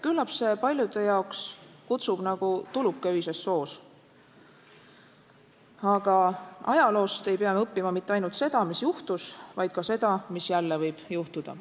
Küllap see paljude jaoks kutsub nagu tuluke öises soos, aga ajaloost ei pea me õppima ainult seda, mis juhtus, vaid ka seda, mis jälle võib juhtuda.